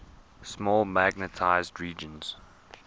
small magnetized regions